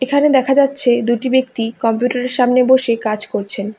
এখানে দেখা যাচ্ছে দুইটি ব্যক্তি কম্পিউটারের সামনে বসে কাজ করছেন।